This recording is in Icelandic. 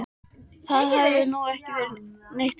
Það hefði nú ekki verið neitt verra.